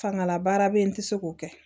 Fangalabaara bɛ yen n tɛ se k'o kɛ